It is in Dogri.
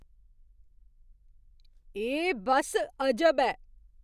एह् बस अजब ऐ!